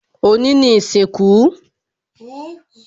Òní ni ìsìnkú